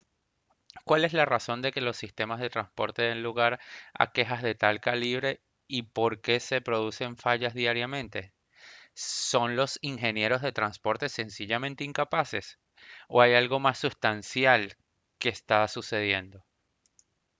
¿cuál es la razón de que los sistemas de transporte den lugar a quejas de tal calibre y por qué se producen fallas diariamente? ¿son los ingenieros de transporte sencillamente incapaces? ¿o hay algo más sustancial que está sucediendo?